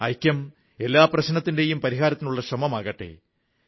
ഐക്യം എല്ലാ പ്രശ്നത്തിന്റെയും പരിഹാരത്തിനുള്ള ശ്രമമാകട്ടെ